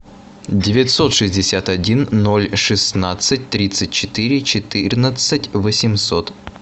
девятьсот шестьдесят один ноль шестнадцать тридцать четыре четырнадцать восемьсот